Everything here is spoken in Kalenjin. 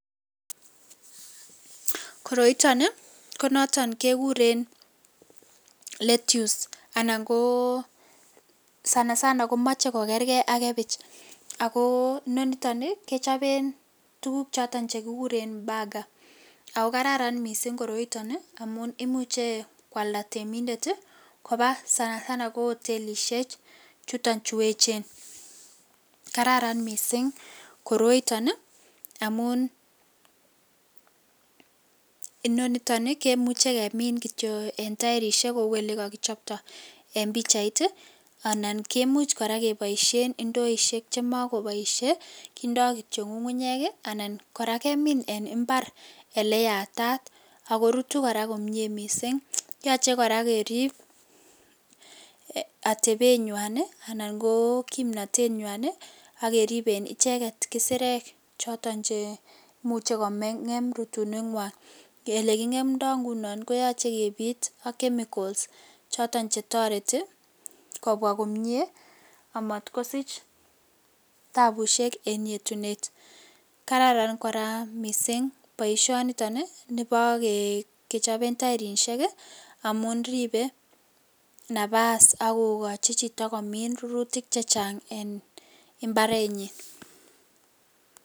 Koroiton ii konoton kekuren lettuce ana ko sana sana komoche kokerken ak kebich akoinoniton kechoben tuguk choton chekikure mbagaa , ako kararan missing' koroiton amun imuche kwalda temindet ii kobaa sana sana ko otelishek chuton chun echen kararan missing' koroiton amun, inoniton ii kemuche kemin en taerishek kou elekokichpto en pichait ii, anan kimuch koraa keboisien indoishek chemokoboishe kindoo kityok ngungunyek, anan koraa kemin en imbar ele yatat okorutu koraa komie missing' yoche koraa kerib atebenywan ii anan kokimnotenywn ii ak keriben icheket isirek choton cheimuche kongem rutunenywan elekingemdo ingunon koyoche kebit ak chemicals choton chetoreti kobwaa komie anat kosich tabushek en yetunet, kararan koraa missing' boisioniton ii nibo kechobeb toerishek ii amun ribe napas ak kokochi chito komin rurutik chechang en Imbarenyin.